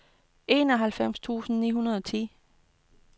enoghalvfems tusind to hundrede og ti